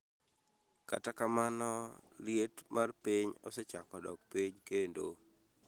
Katakamano, liet mar piny osechako dok piny kendo.